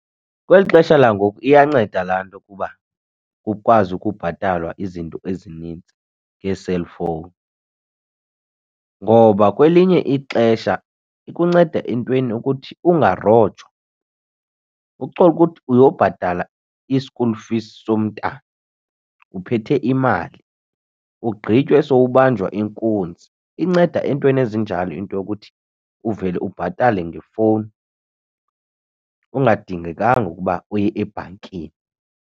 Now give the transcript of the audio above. Kweli xesha langoku iyanceda laa ntokuba kukwazi ukubhatalwa izinto ezinintsi ngee-cellphone. Ngoba kwelinye ixesha ikunceda entweni ukuthi ungarojwa, ucholukuthi uyobhatala i-school fee somntana, uphethe imali ugqitywe sowubanjwa inkunzi. Inceda entweni ezinjalo into yokuthi uvele ubhatale ngefowuni ungadingekanga ukuba uye ebhankini.